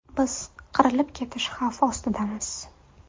Biz qirilib ketish xavfi ostidamiz.